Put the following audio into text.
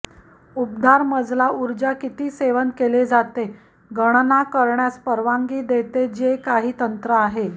उबदार मजला ऊर्जा किती सेवन केले जाते गणना करण्यास परवानगी देते जे काही तंत्र आहे